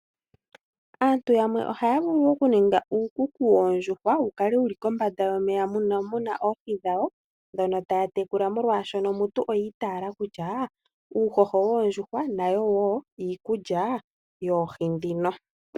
Aantu yamwe oha ya vulu okuninga uukuku yoondjuhwa wu kale wuli kombanda yomeya mono muna oohi dhawo ndhono taya tekula molwashoka ngiika oyi itaala kutya uuhoho woondjuhwa nayo woo iikulya yoohi ndhino.